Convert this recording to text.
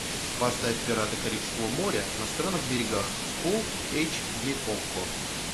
поставь пираты карибского моря на странных берегах фулл эйч ди окко